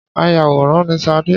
Ayàwòrán ni Sadé